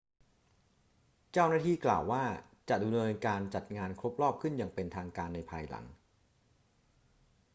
เจ้าหน้าที่กล่าวว่า จะดำเนินการจัดงานครบรอบขึ้นอย่างเป็นทางการในภายหลัง